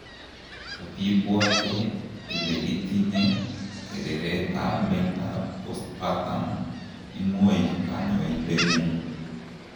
Kotiibwete ile itinye kereret ab met ab postpartum imwoi konyoindetng'ung'